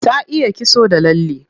Ta iya kitso da lalle.